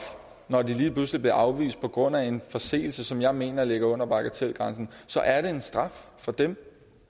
når man lige pludselig bliver afvist på grund af en forseelse som jeg mener ligger under bagatelgrænsen så er det en straf for dem